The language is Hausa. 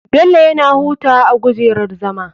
Bello yana hutawa a gujerar zama.